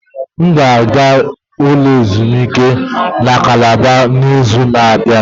M ga-aga ezumike na Calabar n'izu na-abịa.